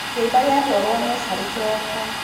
Kĩimba gĩatwarwo mocarĩkĩroko.